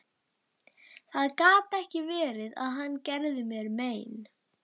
Það gat ekki verið að hann gerði mér mein.